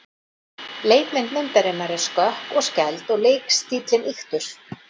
Leikmynd myndarinnar er skökk og skæld og leikstíllinn ýktur.